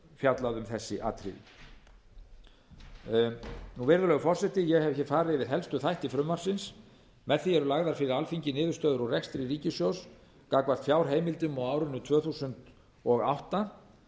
fjallað um þessi atriði virðulegur forseti ég hef farið yfir helstu þætti frumvarpsins með því eru lagðar fyrir alþingi niðurstöður úr rekstri ríkissjóðs gagnvart fjárheimildum á árinu tvö þúsund og átta